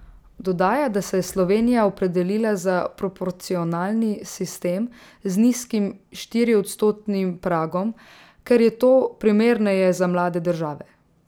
Dodaja, da se je Slovenija opredelila za proporcionalni sistem z nizkim štiriodstotnim pragom, ker je to primerneje za mlade države.